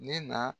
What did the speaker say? Ne na